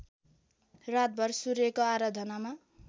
रातभर सूर्यको आराधनामा